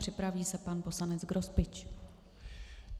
Připraví se pan poslanec Grospič.